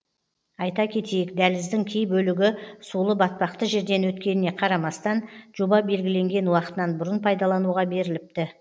айта кетейік дәліздің кей бөлігі сулы батпақты жерден өткеніне қарамастан жоба белгіленген уақытынан бұрын пайдалануға беріліпті